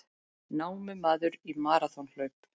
Námumaður í maraþonhlaup